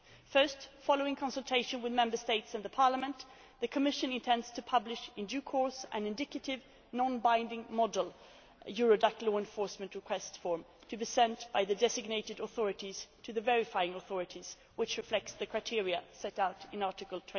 today. Firstly, following consultation with Member States and Parliament, the Commission intends to publish in due course an indicative, non binding model a Eurodac law enforcement request form to be sent by the designated authorities to the verifying authorities, which reflects the criteria set out in